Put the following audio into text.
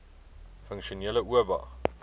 funksionele oba